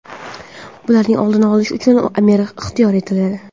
Bularning oldini olish uchun amir ixtiyor etiladi.